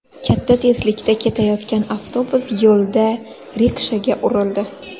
Katta tezlikda ketayotgan avtobus yo‘lda rikshaga urildi.